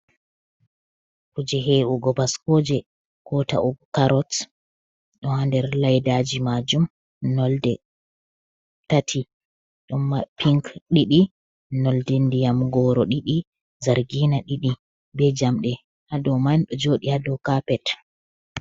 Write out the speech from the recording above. Kuje hewugo baskoje ko ta’ugo carots do ha nder laydaji majum nolɗe tati ɗum mari pink ɗidi nolɗe ndiyam goro didi zargina ɗidi be jamde ha dow man ɗo jodi ha dow kapet.